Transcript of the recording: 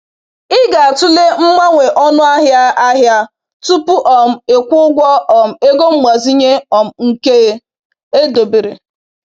Ị ga-atụle mgbanwe ọnụahịa ahịa tupu um ị kwụọ ụgwọ um ego mgbazinye um nke edobere.